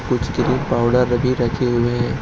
कुछ cream powder भी रखे हुए हैं।